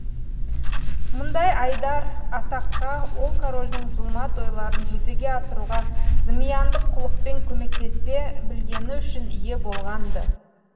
мұндай айдар атаққа ол корольдің зұлмат ойларын жүзеге асыруға зымияндық қулықпен көмектесе білгені үшін ие болған ды